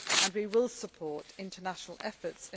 We will support international efforts.